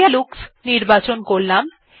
clear looks নির্বাচন করলাম